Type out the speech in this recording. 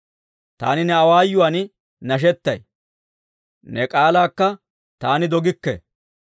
Taani ne awaayuwaan nashetay; ne k'aalaakka taani dogikke.